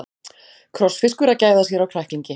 Krossfiskur að gæða sér á kræklingi.